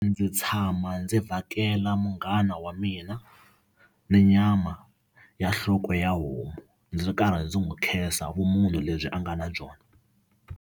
Ndzi tshama ndzi vhakela munghana wa mina ni nyama ya nhloko ya homu ndzi ri karhi ndzi n'wi khensa vumunhu lebyi a nga na byona.